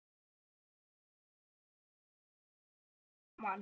Stundum höfum við verið rafmagnslaus vikum saman